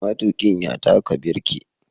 Maitukin ya taka birki.